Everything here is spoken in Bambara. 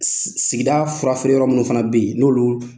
Sigida fura feere yɔrɔ minnu fana bɛ yen n'olu